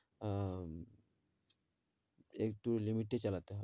আহ একটু limit এ চালাতে হয়